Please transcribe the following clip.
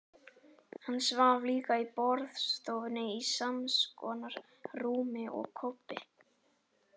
Hann svaf líka í borðstofunni, í samskonar rúmi og Kobbi.